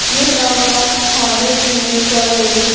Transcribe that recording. ये सामान खाने पीने का है।